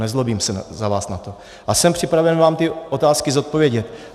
Nezlobím se na vás za to a jsem připraven vám tyto otázky zodpovědět.